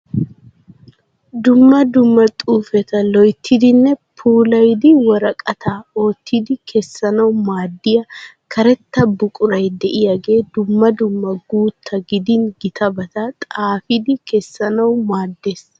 Dumma dumma xuufeta loyittidinne puulayidi woraqata oottidi kessanawu maaddiya karetta buqurayi de'iyagee dumma dumma guutta gidin gitabata xaafidi kessanawu maaddes.